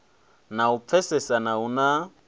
na u pfesesana hu na